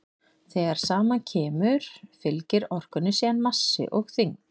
þegar saman kemur fylgir orkunni síðan massi og þyngd